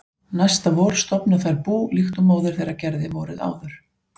Næsta vor stofna þær bú líkt og móðir þeirra gerði vorið áður.